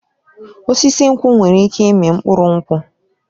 Osisi nkwụ nwere ike ịmị mkpụrụ nkwụ